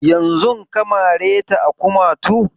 Yanzun ka mare ta a kumatu?